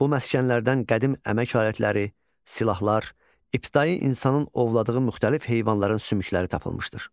Bu məskənlərdən qədim əmək alətləri, silahlar, ibtidai insanın ovladığı müxtəlif heyvanların sümükləri tapılmışdır.